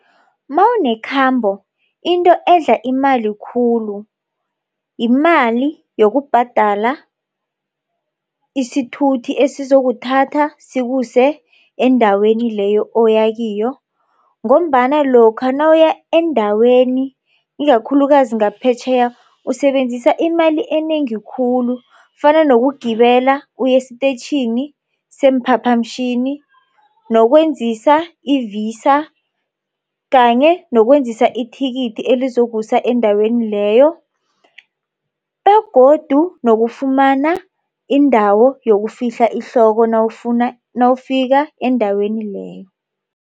Mawunekhambo into edla imali khulu, yimali yokubhadala isithuthi esizokuthatha sikuse endaweni leyo oyakiyo. Ngombana lokha nawuya endaweni ikakhulukazi ngaphetjheya usebenzisa imali enengi khulu kufana nokugibela uye esitetjhini seemphaphamtjhini nokwenzisa i-VISA kanye nokwenzisa ithikithi elizokusa endaweni leyo begodu nokufumana indawo yokufihla ihloko nawufika endaweni leyo.